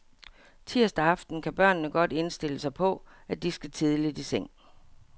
Tirsdag aften kan børnene godt indstille sig på, at de skal tidligt i seng.